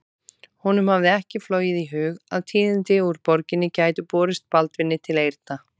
Honum hafði ekki flogið í hug að tíðindi úr borginni gætu borist Baldvini til eyrna.